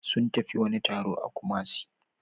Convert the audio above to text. Sun tafi wani taro a Kumasi